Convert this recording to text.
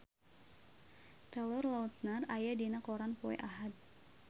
Taylor Lautner aya dina koran poe Ahad